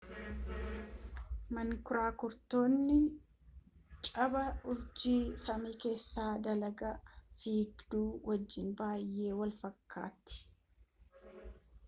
mankuraakurittiin cabaa urjii samii keessa dalga fiigduu wajjin baay'ee walfakkaatti